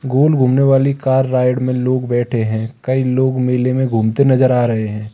गोल घूमने वाली car ride में लोग बैठे हैं कई लोग मेले में घूमते नजर आ रहे हैं।